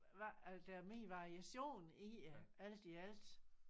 Hvad der er mere variation i det alt i alt